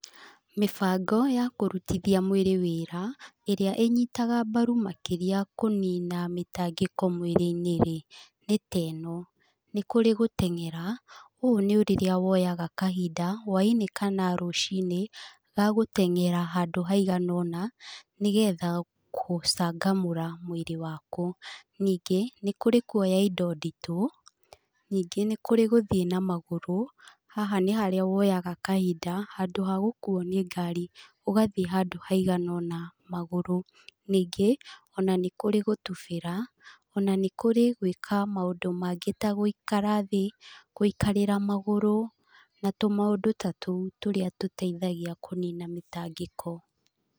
Mĩbango ya kũrutithia mwĩrĩ wĩra, ĩrĩa ĩnyitaga mbaru makĩria kũnina mĩtangĩko mwĩrĩ-inĩ rĩ nĩ ta ĩno; nĩ kũrĩ gũteng'era, ũũ nĩ rĩrĩa woyaga kahinda, hwainĩ kana rũciinĩ, ga gũteng'era handũ haigana ũna, nĩ getha kũcangamũra mwĩrĩ waku. Ningĩ, nĩ kũrĩ kuoya indo nditũ, nyingĩ nĩ kũrĩ gũthiĩ na magũrũ, haha nĩ harĩa woyaga kahinda handũ ha gũkuuo nĩ ngari ũgathiĩ handũ haigana ũna magũrũ. Ningĩ, ona nĩ kũrĩ gũtubĩra ona nĩ kũrĩ gwĩka maũndũ mangĩ ta gũikara thĩ, gũikarĩra magũrũ, na tũmaũndũ ta tũu tũrĩa tũteithagia kũnina mĩtangĩko.